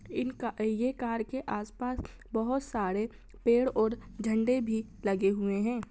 इनका ये कार के आस-पास बहोत सारे पेड़ और झंडे भी लगे हुए हैं।